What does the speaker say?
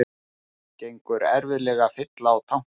Gengur erfiðlega að fylla á tankinn